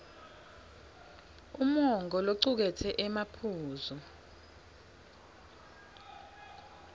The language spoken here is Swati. umongo locuketse emaphuzu